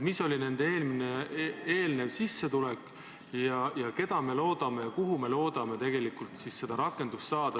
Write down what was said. Mis oli nende eelnev sissetulek ehk kellele ja kus me loodame rakendust leida?